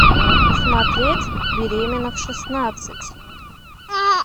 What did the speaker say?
смотреть беременна в шестнадцать